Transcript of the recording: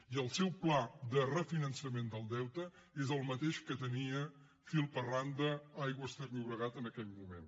i el seu pla de refinançament del deute és el mateix que tenia fil per randa aigües ter llobregat en aquell moment